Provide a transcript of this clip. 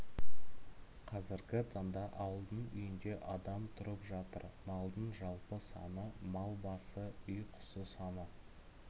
қазіргі таңда ауылдың үйінде адам тұрып жатыр малдың жалпы саны мал басы үй құсы саны